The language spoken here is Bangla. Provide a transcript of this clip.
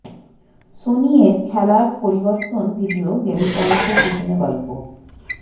সনি এর খেলা পরিবর্তন ভিডিও গেম কনসোল পিছনে গল্প